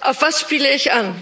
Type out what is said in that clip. Auf was spiele ich an?